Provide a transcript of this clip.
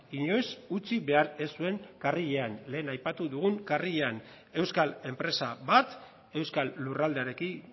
inoiz utzi behar ez zuen karrilean lehen aipatu dugun karrilean euskal enpresa bat euskal lurraldearekin